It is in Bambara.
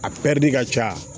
A ka ca